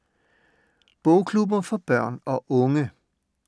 Bogklubber for børn og unge